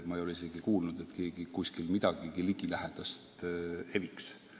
Ma pole isegi kuulnud, et keegi kuskil midagigi ligilähedast eviks.